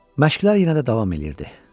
Məşqlər yenə də davam edirdi.